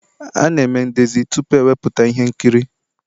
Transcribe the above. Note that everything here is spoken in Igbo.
A na-eme ndezi tupu ewepụta ihe nkiri